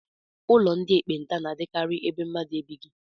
Ụlọ ndị ekpenta na-adịkarị ebe mmadụ ebighị